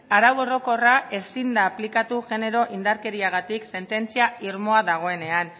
arau orokorra ezin da aplikatu genero indarkeriagatik sententzia irmoa dagoenean